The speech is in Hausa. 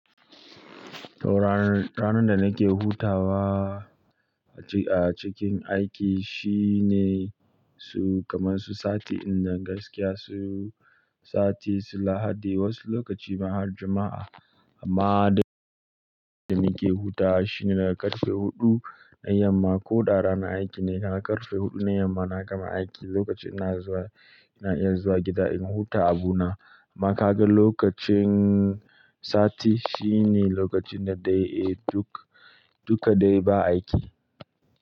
To ranar, ranar da nake hutawa a ci-- a cikin aiki shine su kamar su sati in da gaskiya su sati, su Lahadi wasu lokaci ma har Juma'a. Amma dai da nake hutawa shine daga ƙarfe huɗu na yamma ko ɗara na aiki ne, daga ƙarfe huɗu na yamma na gama aiki. Lokacin ina zuwa, ina iya zuwa gida in huta abu na. Amma ka ga lokacin sati shi ne lokacin da dai, eh duk, duka dai ba aiki.